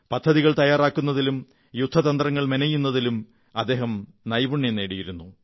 പദ്ധതികൾ തയ്യാറാക്കുന്നതിലും യുദ്ധതന്ത്രങ്ങൾ മെനയുന്നതിലും അദ്ദേഹം നൈപുണ്യം നേടിയിരുന്നു